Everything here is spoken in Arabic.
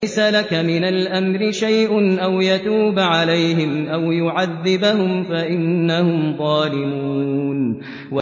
لَيْسَ لَكَ مِنَ الْأَمْرِ شَيْءٌ أَوْ يَتُوبَ عَلَيْهِمْ أَوْ يُعَذِّبَهُمْ فَإِنَّهُمْ ظَالِمُونَ